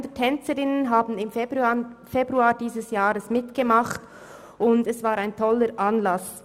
300 Tänzerinnen haben im Februar dieses Jahres mitgemacht und es war ein toller Anlass.